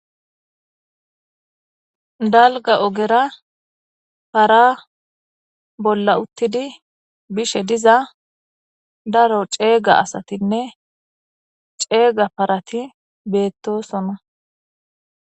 Daligga oggera para bolla utidi bishe diza daro cegga assatinne cegga parati betosona